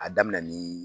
A daminɛ ni